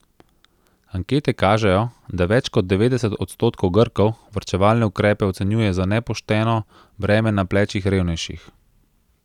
Ankete kažejo, da več kot devetdeset odstotkov Grkov varčevalne ukrepe ocenjuje za nepošteno breme na plečih revnejših.